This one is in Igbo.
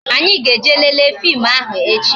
Anyi ga-eje lele fim ahụ echi